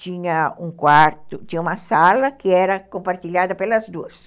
Tinha um quarto, tinha uma sala que era compartilhada pelas duas.